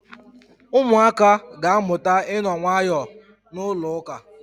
Ụmụaka ga-amụta ịno nwayọọ na ụlọụka.